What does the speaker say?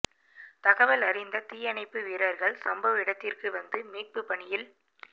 தகவல் அறிந்த தீயணைப்பு வீரர்கள் சம்பவ இடத்திற்கு வந்து மீட்பு பணியில்